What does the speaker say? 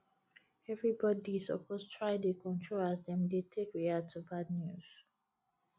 everybodi suppose try dey control as dem dey take react to bad news